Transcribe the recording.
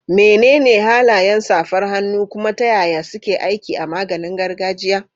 Menene halayen safar hannu, kuma ta yaya suke aiki a maganin gargajiya?